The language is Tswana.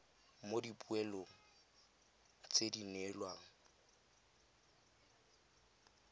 mo dipoelong tse di neelwang